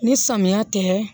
Ni samiya tɛ